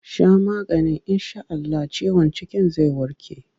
Sha maganin in sha Allah ciwon cikin zai warke!